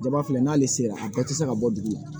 Jaba filɛ n'ale sera a bɛɛ tɛ se ka bɔ dugu la